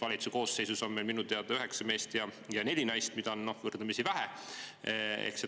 Valitsuse koosseisus on meil minu teada üheksa meest ja neli naist, mida on võrdlemisi vähe.